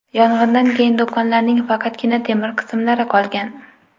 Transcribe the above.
Yong‘indan keyin do‘konlarning faqatgina temir qismlari qolgan.